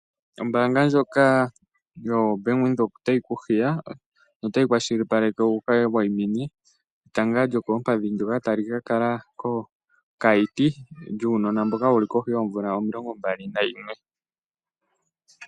Ombaanga ndjoka yoBank Windhoek otayi ku hiya notayi kwashilipaleke wu ka wayimine etanga lyokoompandhi ndyoka tali ka kala kOkaiti lyuunona mboka wu li kohi yoomvula omilongombali nayimwe.